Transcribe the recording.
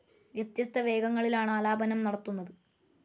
വ്യത്യസ്ത വേഗങ്ങളിലാണ് ആലാപനം നടത്തുന്നത്